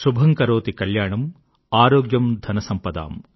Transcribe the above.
శుభం కరోతి కళ్యాణం ఆరోగ్యం ధనసంపదామ్